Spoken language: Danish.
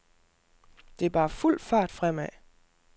Det er bare fuld fart fremad.